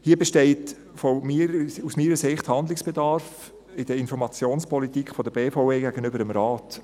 Hier besteht aus meiner Sicht Handlungsbedarf in der Informationspolitik der BVE gegenüber dem Rat.